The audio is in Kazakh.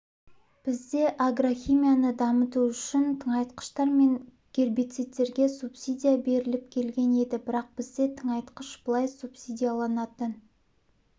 бізде агрохимияны дамыту үшін тыңайтқыштар мен гербицидтерге субсидия беріліп келген еді бірақ бізде тыңайтқыш былай субсидияланатын